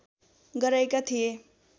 गराएका थिए